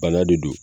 Bana de don